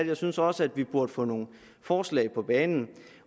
jeg synes også vi burde få nogle forslag på banen